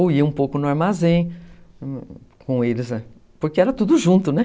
Ou ia um pouco no armazém com eles, porque era tudo junto, né?